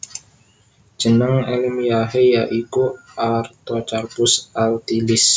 Jeneng èlmiyahé ya iku Artocarpus altilis